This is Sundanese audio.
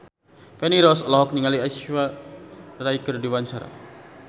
Feni Rose olohok ningali Aishwarya Rai keur diwawancara